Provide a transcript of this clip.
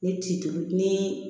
Ni ti duuru ni